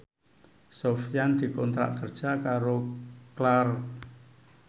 Sofyan dikontrak kerja karo Clarks